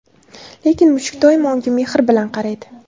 Lekin mushuk doimo unga mehr bilan qaraydi.